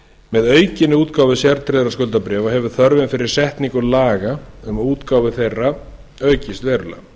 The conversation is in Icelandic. með aukinni útgáfu sértryggðra skuldabréfa hefur þörfin fyrir setningu laga um útgáfu þeirra aukist verulega